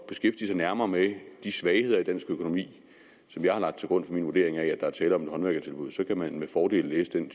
beskæftige sig nærmere med de svagheder i dansk økonomi som jeg har lagt til grund for min vurdering af at der er tale om et håndværkertilbud så kan man med fordel læse den